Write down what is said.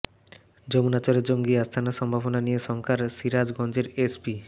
যমুনার চরে জঙ্গি আস্তানার সম্ভাবনা নিয়ে শঙ্কায় সিরাজগঞ্জের এসপি